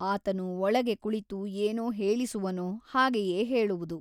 ಆತನು ಒಳಗೆ ಕುಳಿತು ಏನು ಹೇಳಿಸುವನೋ ಹಾಗೆಯೇ ಹೇಳುವುದು.